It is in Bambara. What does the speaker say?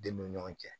Denw ni ɲɔgɔn cɛ